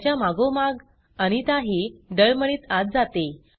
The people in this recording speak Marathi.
त्यांच्या मागोमाग अनिताही डळमळीत आत जाते